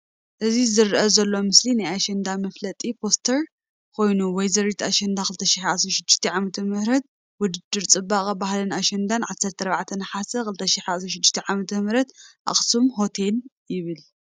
እዚ ዝረአ ዘሎ ምስሊ ናይ አሸንዳ መፋለጢ (ፖስተር) ኮይኑ ወይዘሪት አሸንዳ 2016 ዓ/ም ውድድር ፅባቀን ባህልን አሸንዳ 14 ነሓሰ 2016 ዓ/ም አክሱም ሆቴል ይብል፡፡